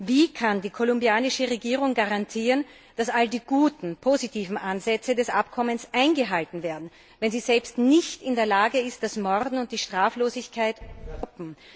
Wie kann die kolumbianische Regierung garantieren, dass all die guten, positiven Ansätze des Abkommens eingehalten werden, wenn sie selbst nicht in der Lage ist, das Morden und die Straflosigkeit zu stoppen?